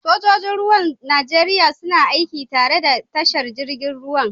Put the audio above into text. Sojoji Ruwan Najeriya suna aiki tare da tashar jirgin ruwan.